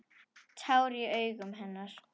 Tár í augum hennar.